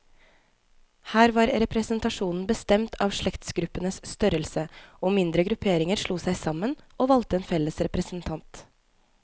Her var representasjonen bestemt av slektsgruppenes størrelse, og mindre grupperinger slo seg sammen, og valgte en felles representant.